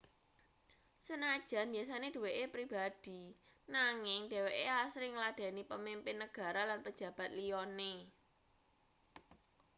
sanajan biasane duweke pribadi nanging dheweke asring ngladheni pamimpin negara lan pejabat liyane